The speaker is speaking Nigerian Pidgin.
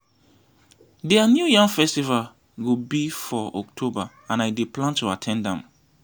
dia new yam festival go be for october and i dey plan to at ten d am